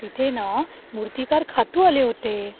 तिथे न, मुर्तिकार खातू आले होते.